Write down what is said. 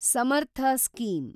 Samarth scheme